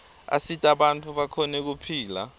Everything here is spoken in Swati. asita bantfu bakhone kuphila